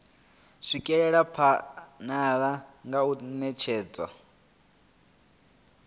swikelela phanele nga u netshedza